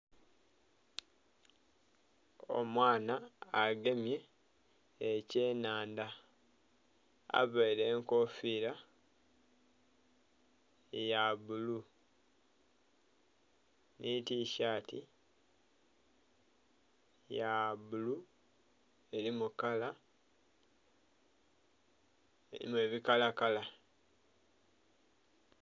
Omwana agemye ekyenhandha availe enkofira ya bbulu nhi tishaati ya bbulu elimu kala, elimu ebikalakala.